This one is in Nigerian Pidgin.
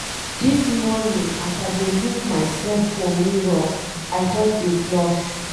Dis morning as I dey look myself for mirror I just dey blush.